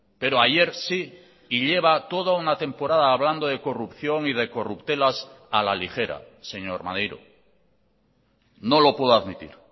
pero ayer sí y lleva toda una temporada hablando de corrupción y de corruptelas a la ligera señor maneiro no lo puedo admitir